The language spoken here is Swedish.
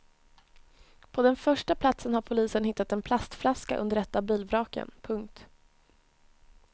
På den första platsen har polisen hittat en plastflaska under ett av bilvraken. punkt